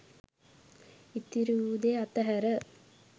ඉතිරි වූ දේ අතහැර